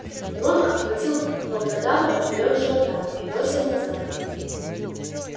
рон обхватил волкодава поперёк живота и бросил назад